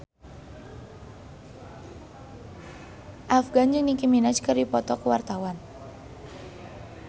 Afgan jeung Nicky Minaj keur dipoto ku wartawan